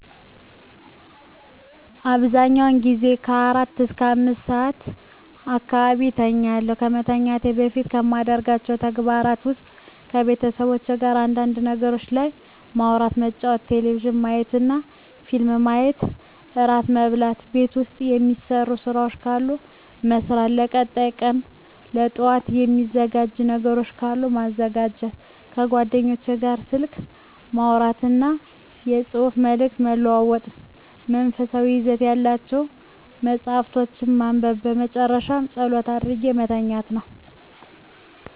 አብዛኛውን ጊዜ ከአራት እስከ አምስት ሰዓት አካባቢ እተኛለሁ። ከመተኛቴ በፊት ከማደርጋቸው ተግባራት ውስጥ ከቤተሰቦቼ ጋር አንዳንድ ነገሮች ላይ ማውራት መጫወት ቴሌቪዥን ማየትና ፊልም ማየት እራት መብላት ቤት ውስጥ የሚሰሩ ስራዎች ካሉ መስራት ለቀጣይ ቀን ለጠዋት የሚዘጋጅ ነገሮች ካሉ ማዘጋጀት ከጓደኞቼ ጋር ስልክ ማውራትና የፅሁፍ መልዕክት መለዋወጥ መንፈሳዊ ይዘት ያላቸውን መፃሀፍቶችን ማንበብ በመጨረሻ ፀሎት አድርጌ መተኛት ነው።